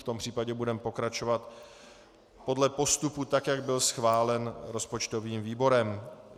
V tom případě budeme pokračovat podle postupu tak, jak byl schválen rozpočtovým výborem.